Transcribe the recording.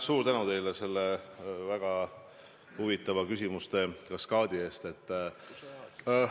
Suur tänu teile väga huvitava küsimuste kaskaadi eest!